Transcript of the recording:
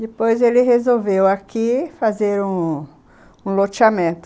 Depois ele resolveu aqui fazer um...um loteamento.